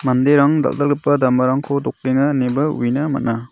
anderang dal·dalgipa damarangko dokenga ineba uina man·a.